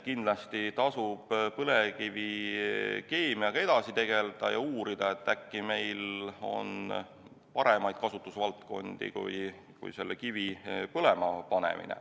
Kindlasti tasub põlevkivikeemiaga edasi tegelda ja uurida, et äkki on meil paremaid kasutusvaldkondi kui selle kivi põlema panemine.